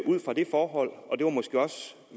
ud fra det forhold